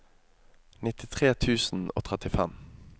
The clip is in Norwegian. nittitre tusen og trettifem